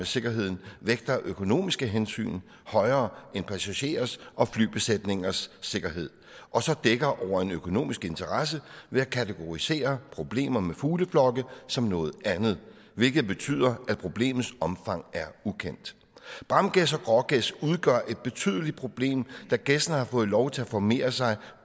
sikkerheden vægter økonomiske hensyn højere end passagerers og flybesætningers sikkerhed og så dækker over en økonomisk interesse ved at kategorisere problemer med fugleflokke som noget andet hvilket betyder at problemets omfang er ukendt bramgæs og grågæs udgør et betydeligt problem da gæssene har fået lov til at formere sig